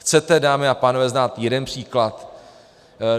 Chcete, dámy a pánové, znát jeden příklad?